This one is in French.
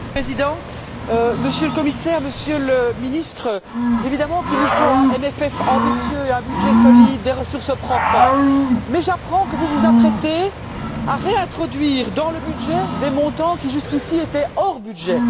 Monsieur le Président, Monsieur le Commissaire, Monsieur le Ministre, évidemment qu'il nous faut un CFP ambitieux, un budget solide et des ressources propres mais j'apprends que vous vous apprêtez à réintroduire dans le budget des montants qui, jusqu'ici, étaient hors budget.